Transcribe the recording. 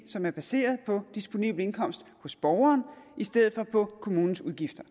som er baseret på disponibel indkomst hos borgeren i stedet for på kommunens udgifter